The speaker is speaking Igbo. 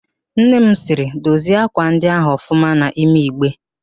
Nnem sịrị, dozie ákwà ndị ahụ ọfụma n'ime Igbe!